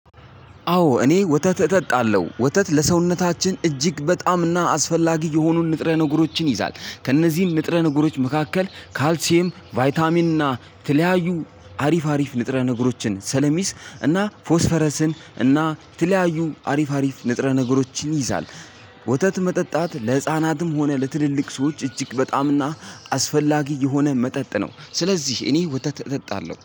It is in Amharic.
አዎ እኔ ወተት እጠጣለሁ ወተት ለሰውነታችን እጅግ በጣም እና አስፈላጊ የሆኑን ንጥረ ነገሮችን ይይዛል ከእነዚህም ንጥረ ነገሮች መካከል ካልሲየም ቫይታሚን እና ተለያዩ አሪፍ አሪፍ ንጥረ ንጉሮችን ስለሚይዝ እና ፎስፈረስን እና ተለያዩም አሪፍ ንጥረ ነገሮችን ይይዛል። ወተት መጠጣት ለህፃናትም ሆነ ለትልልቅ ሰዎች እጅግ በጣምና አስፈላጊ የሆነ መጠጥ ነው። ስለዚህ እኔ ወተት እጠጣለሁ